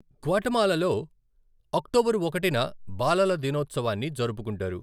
గ్వాటమాలలో, October ఒకటిన బాలల దినోత్సవాన్ని జరుపుకుంటారు.